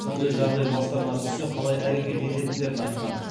сондай жағдай бастарына түссе қалай әрекет ететіндерін айтқан